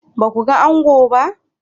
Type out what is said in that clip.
Ba ku ga ango ba?